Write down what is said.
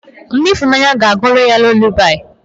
Nne ifunanya aga-agụụrụ ya lulabaị?